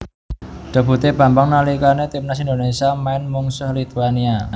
Debutè Bambang nalikanè timnas Indonésia maèn mungsuh Lituania